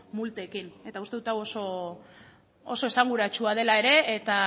multekin eta uste dut hau oso esanguratsua dela ere eta